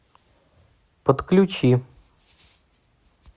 подключи